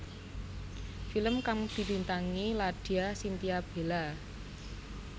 Film kang dibintangi Ladya Chintya Bella